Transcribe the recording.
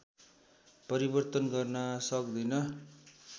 परिवर्तन गर्न सक्दिन